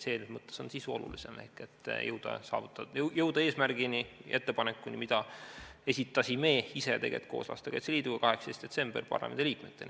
Selles mõttes on olulisem sisu ehk see, et jõuda eesmärgile ja ettepanekuni, mille esitasime ise tegelikult koos Lastekaitse Liiduga 18. detsembril parlamendiliikmetele.